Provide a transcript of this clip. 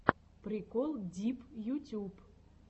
прикол дип ютюб